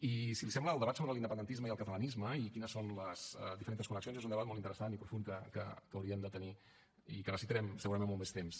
i si li sembla el debat sobre l’independentisme i el catalanisme i quines són les diferentes connexions és un debat molt interessant i profund que hauríem de tenir i que necessitarem segurament molt més temps